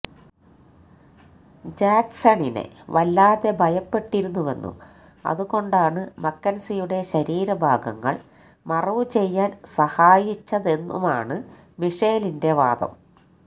ജാക്സണിനെ വല്ലാതെ ഭയപ്പെട്ടിരുന്നുവെന്നും അതുകൊണ്ടാണ് മക്കന്സിയുടെ ശരീരഭാഗങ്ങള് മറവു ചെയ്യാന് സഹായിച്ചതെന്നുമാണ് മിഷേലിന്റെ വാദം